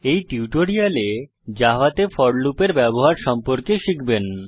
এই টিউটোরিয়ালে জাভাতে ফোর লুপ এর ব্যবহার সম্পর্কে শিখবেন